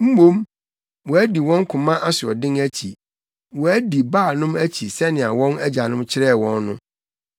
Mmom, wɔadi wɔn koma asoɔden akyi, wɔadi Baalnom akyi sɛnea wɔn agyanom kyerɛɛ wɔn no.”